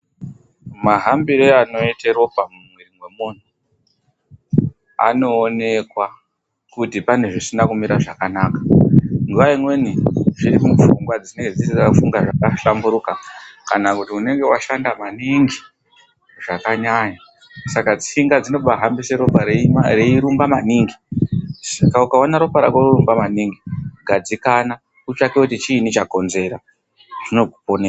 Mahambire anoita ropa mumuiri memuntu anoonekwa kuti pane zvisina kumira zvakanaka. Nguva imweni zviri mupfungwa dzinenge dzaakufunga zvakahlamburuka kana kuti unenge washanda maningi, zvakanyanya. Saka tsinga dzinenge dzohambisa ropa reiromba maningi. Saka ukaona ropa rako rorumba maningi, gadzikana utsvake kuti chiinyi chakonzera. Zvinokuponesa.